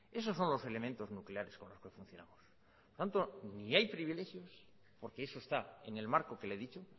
esos son los elementos nucleares con los que funcionamos ni hay privilegios porque eso está en el marco que le he dicho